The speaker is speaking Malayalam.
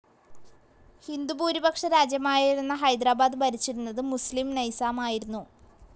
ഹിന്ദുഭൂരിപക്ഷ രാജ്യമായിരുന്ന ഹൈദരാബാദ് ഭരിച്ചിരുന്നത് മുസ്ലിം നൈസാമായിരുന്നു.